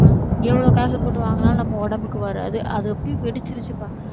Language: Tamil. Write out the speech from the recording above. எவ்வளவு காசு போட்டு வாங்கினாலும் நம்ம உடம்புக்கு வராது. அது அப்படியே வெடிச்சிருச்சுப்பா